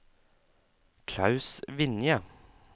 Klaus Vinje